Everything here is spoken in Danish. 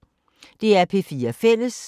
DR P4 Fælles